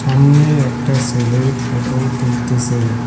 সামনে একটা সেলে ফটো তুলতেসে।